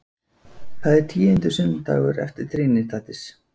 Það er tíundi sunnudagur eftir trinitatis.